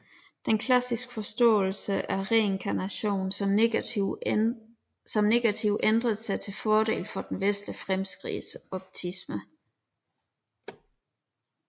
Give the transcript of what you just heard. Den klassiske forståelse af reinkarnation som negativ ændrede sig til fordel for den vestlige fremskridtsoptisme